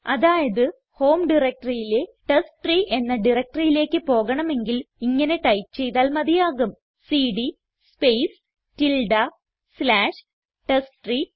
അതായത് ഹോം directoryയിലെ ടെസ്റ്റ്രീ എന്ന directoryയിലേക്ക് പോകണമെങ്കിൽ ഇങ്ങനെ ടൈപ്പ് ചെയ്താൽ മതിയാകും സിഡി സ്പേസ് സ്ലാഷ് ടെസ്റ്റ്രീ